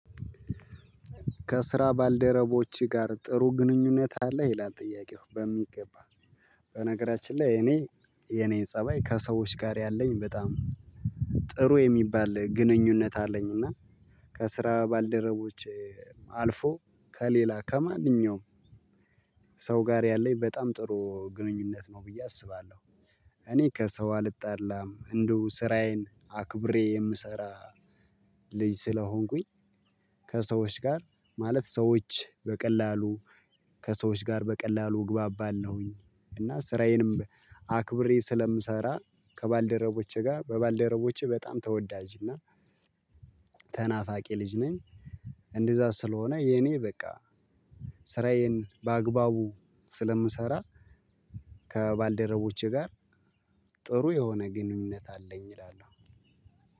ከስራ ባልደረቦቼ ጋር ጥሩ ግንኙነት አለ? ይላል ጥያቄው በሚገባ በነገራችን ላይ እኔ የኔ ፀባይ ከሰዎች ጋር ያለኝ በጣም ጥሩ የሚባል ግንኙነት አለኝ እና ከስራ ባልደረቦች አልፎ ከለላ ከማንኛውም ሰው ጋር ያለኝ በጣም ጥሩ ግንኙነት ነው ብየ አስባለሁ እነ ከሰው አልጣላም እንደሁ ስራዬን አክብረው የምሰራ ልጅ ከሰዎች ጋር ማለት ሰዎች በቀላሉ ከሰዎች ጋር በቀላሉ እግባባለሁኝ አና ስራዬንም አክብረው ስለምሰራ ከባልደረቦቼ ጋር በባልደረቦቼ በጣም ተወዳጅ እና ተናፋቂ ልጅ ነኝ። እንደዛ ስለሆነ የኔ በቃ ስራዬን በአግባቡ ስለምሰራ ከባልደረቦቼ ጋር ጥሩ የሆነ ግንኙነት አለኝ እላለሁ።